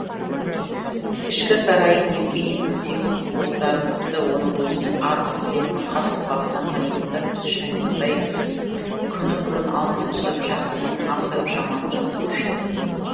ішкі сарайын евгенийдің сезім құбылыстарын тіпті оның өзінен артық білетін қас қабақтан танитын да түс шайғызбай күні бұрын алдына түсіп жақсысын асырып жаманын жасырушы еді